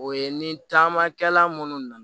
O ye ni taamakɛla minnu na na